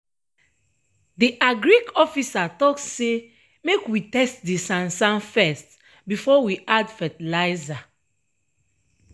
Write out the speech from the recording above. de agric officer talk say make we test de sansan fess before we add fertilizer.